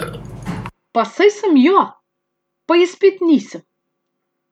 Pa saj sem jo, pa je spet nisem.